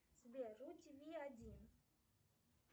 сбер ру ти ви один